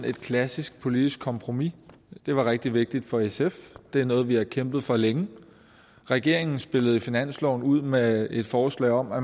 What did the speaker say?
et klassisk politisk kompromis det var rigtig vigtigt for sf det er noget vi har kæmpet for længe regeringen spillede i finansloven ud med et forslag om at